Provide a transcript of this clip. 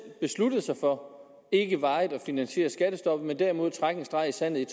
besluttet sig for ikke varigt at finansiere skattestoppet men derimod at trække en streg i sandet